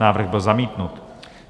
Návrh byl zamítnut.